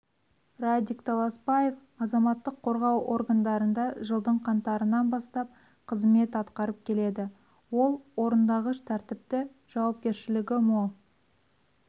радик таласбаев азаматтық қорғау органдарында жылдың қаңтарынан бастап қызмет атқарып келеді ол орындағыш тәртіпті жауапкершілігі мол